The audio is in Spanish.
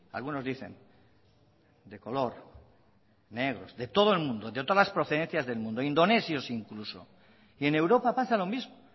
algunos dicen de color negros de todo el mundo de todas las procedencias del mundo indonesios incluso y en europa pasa lo mismo